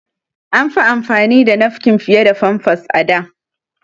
An fi amfani da nafkin fiye da famfas a da.